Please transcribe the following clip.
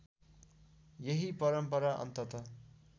यही परम्परा अन्ततः